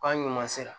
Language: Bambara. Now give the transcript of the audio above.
K'an ɲuman sera